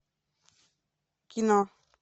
кино